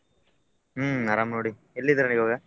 ಹ್ಮ್ಅರಾಮ್ ನೋಡಿ ಎಲ್ಲಿದೀರ ನೀವ್ ಇವಾಗ?